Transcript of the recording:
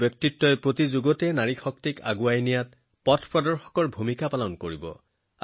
তেওঁলোকৰ ব্যক্তিত্ব এটা প্ৰকাশ্য স্তম্ভৰ দৰে যিয়ে সকলো বয়সতে নাৰী শক্তিৰ বাবে আগুৱাই যোৱাৰ পথ দেখুৱাইছে